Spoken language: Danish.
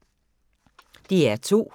DR2